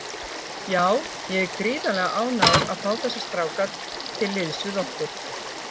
Já, ég er gríðarlega ánægður að fá þessa stráka til liðs við okkur.